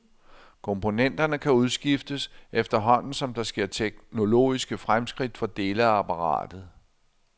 Komponenterne kan udskiftes, efterhånden som der sker teknologiske fremskridt for dele af apparatet.